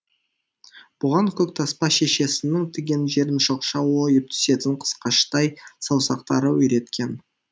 бұған көктаспа шешесінің тиген жерін шоқша ойып түсетін қысқаштай саусақтары үйреткен